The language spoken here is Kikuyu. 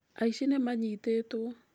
Aici nĩ maanyitĩtwo.